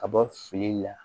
Ka bɔ fili la